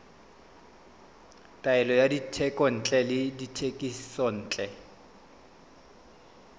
taolo ya dithekontle le dithekisontle